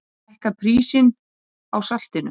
Hækka prísinn á saltinu!